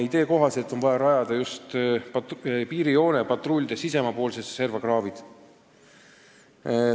Idee kohaselt aga on vaja just piirijoone patrulltee sisemaapoolsesse serva kraavid kaevata.